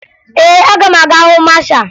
Ee, aga m aga hụ masha